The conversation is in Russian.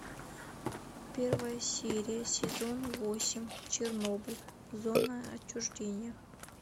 первая серия сезон восемь чернобыль зона отчуждения